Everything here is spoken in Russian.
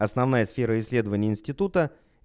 основная сфера исследований института